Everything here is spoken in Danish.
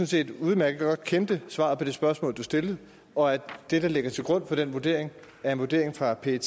set udmærket godt kendte svaret på det spørgsmål du stillede og at det der ligger til grund for den vurdering er en vurdering fra pet